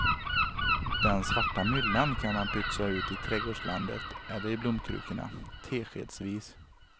Den svarta myllan kan man pytsa ut i trädgårdslandet eller i blomkrukorna, teskedsvis.